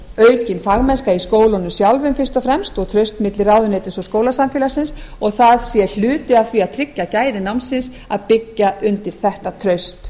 aukin fagmennska í skólunum sjálfum fyrst og fremst og traust milli ráðuneytis og skólasamfélagsins og það sé hluti af því að tryggja gæði námsins að byggja undir þetta